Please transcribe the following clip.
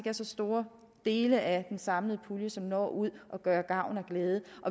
er så store dele af den samlede pulje som når ud og gør gavn og glæde